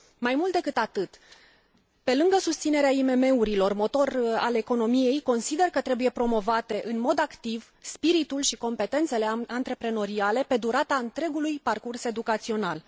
Mai mult decât atât, pe lângă susținerea IMM urilor, motor al economiei, consider că trebuie promovate în mod activ spiritul și competențele antreprenoriale pe durata întregului parcurs educațional.